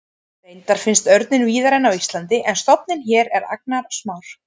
Reyndar finnst örninn víðari en á Íslandi en stofninn hér er agnarsmár.